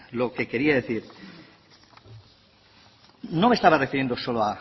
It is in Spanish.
lo que quería decir es que no me estaba refiriendo solo